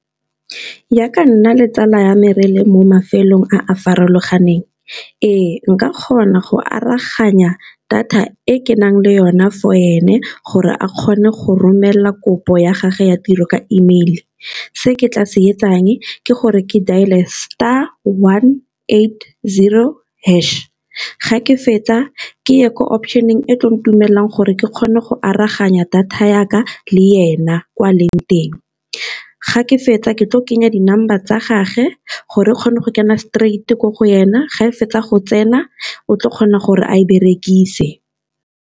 Jaaka Nna le tsala ya me rele mo mafelong a a farologaneng ee, nka kgona go aroganya data e ke nang le yona for ene gore a kgone go romela kopo ya gage ya tiro ka emeile. Se ke tla se etsang ke gore ke dailer star one eight zero hash ga ke fetsa ke ye ko option-eng ko tlo ntumelelang gore ke kgone go aroganya data ya ka ka le ena kwa leng teng, ga ke fetsa ke tlo kenya di-number tsa gage gore e kgona go kena straight ko go yena ga e fetsa go tsena o tla kgona gore a berekise.